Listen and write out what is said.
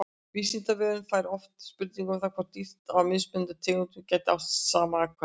Vísindavefurinn fær oft spurningar um það hvort dýr af mismunandi tegundum geti átt saman afkvæmi.